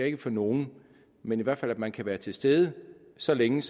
ikke for nogen men i hvert fald at man kan være til stede så længe